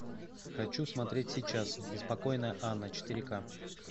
хочу смотреть сейчас беспокойная анна четыре ка